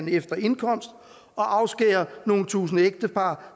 efter indkomst og afskære nogle tusinde ægtepar